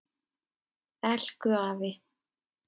Elku afi.